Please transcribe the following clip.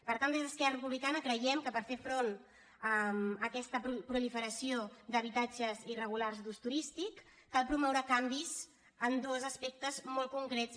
per tant des d’esquerra republicana creiem que per fer front a aquesta proliferació d’habitatges irregulars d’ús turístic cal promoure canvis en dos aspectes molt concrets